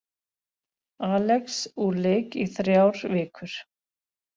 Alex úr leik í þrjár vikur